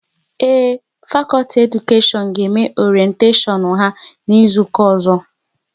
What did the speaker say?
Ee, fakọlti Edukashion ga eme oretashon ha n'izuka ozo